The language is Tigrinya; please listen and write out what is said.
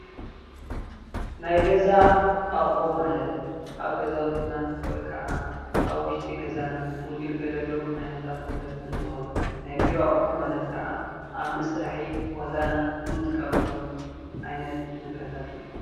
ናይ ገዛ ኣቁሑ ማለት ኣብ ገዛውትና ወይ ከዓ ኣብ ውሽጢ ገዛና እንግልገለሉ ዓይነታት ንብረት እንትኮኑ፡፡ ናይ ቢሮ ኣቁሑ ማለት ከኣ ኣብ መስርሒ ቦታና እንጥቀመሎም ዓይነት ንብረታት እዮም፡፡